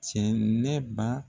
Cɛnɛba